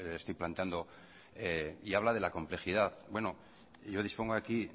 estoy planteando y habla de la complejidad yo dispongo aquí